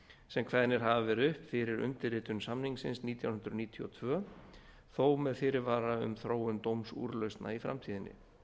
sem kveðnir hafa verið upp fyrir undirritun samningsins nítján hundruð níutíu og tvö þó með fyrirvara umþróundómsúrlausna í framtíðinni